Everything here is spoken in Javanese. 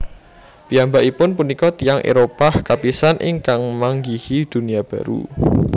Piyambakipun punika tiyang Éropah kapisan ingkang manggihi Dunia Baru